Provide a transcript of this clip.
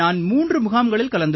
sir நான் 3 முகாம்களில் கலந்து